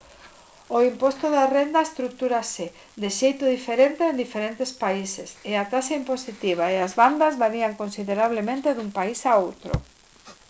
o imposto da renda estrutúrase de xeito diferente en distintos países e a taxa impositiva e as bandas varían considerablemente dun país a outro